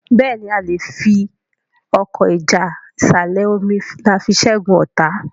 Béèni a lẹ fí Ọkọ́ ìjà ìsàlẹ̀-omi ní a fí ṣẹgun ọta.